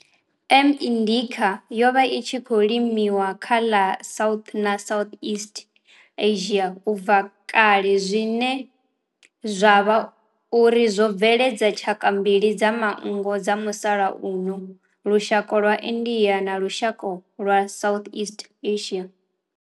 M. indica yo vha i tshi khou limiwa kha ḽa South na Southeast Asia ubva kale zwine zwa vha uri zwo bveledza tshaka mbili dza manngo dza musalauno lushaka lwa India na lushaka lwa Southeast Asia.